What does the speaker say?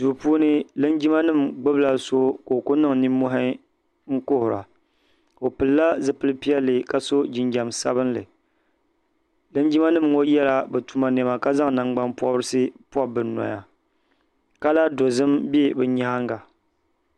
duu puuni linjima nim gbubila so ka o ku niŋ nimmohi n kuhura o pilila zipili piɛlli ka so jinjɛm sabinli linjima nim ŋɔ yɛla bi tuma niɛma ka zaŋ nangbani pobirisi pobi bi noya kala dozim bɛ bi nyaanga